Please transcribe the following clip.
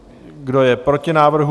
Kdo je proti návrhu?